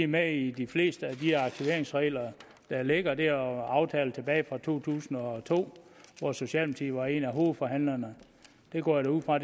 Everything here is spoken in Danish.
med i de fleste af de aktiveringsreglerne der ligger der er er aftaler tilbage fra to tusind og to hvor socialdemokratiet af hovedforhandlerne og det går jeg ud fra